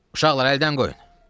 Uşaqlar, əldən qoyun.